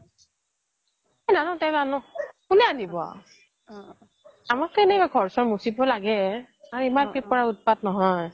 মই নানো তেল নানো কোনে আনিব আৰু আমাকটো এনেই ঘৰ চৰ মচিব লাগে overlap ইমান ওতপাত নহয়